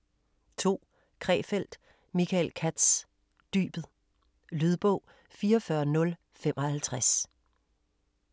2. Krefeld, Michael Katz: Dybet Lydbog 44055